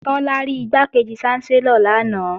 Tọ́lá rí Igbákejì ṣánsẹ́lọ̀ lanaay